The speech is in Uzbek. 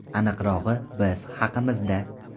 Aniqrog‘i Biz haqimizda.